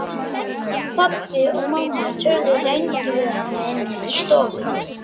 Pabbi og mamma töluðu lengi við hana inni í stofu.